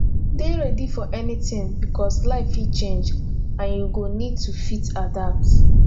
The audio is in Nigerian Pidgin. dey ready for anything because life fit change and you go need to fit adapt